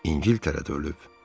İngiltərədə ölüb.